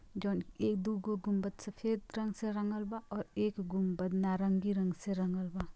जोन एक दु गो गुंबद सफेद रंग से रंगल बा और एक गुंबद नारंगी रंग से रंगल बा।